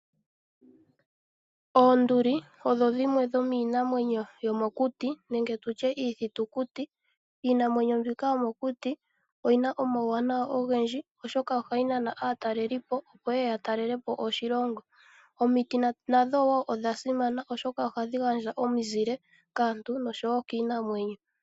Oonduli odho dhimwe dho miinamwenyo yomokuti nenge tu tye iithitukuti, iinamwenyo mbyoka yomokuti oyi na omauwanawa ogendji, oshoka oha yi Nana aatalelipo, opo ye ye ya talelepo oshilongo. Omiti nadho wo odha simana oshoka oha dhi gandja omizile kaantu nosho wo kiinamwenyo.